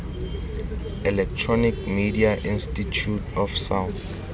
electronic media institute of south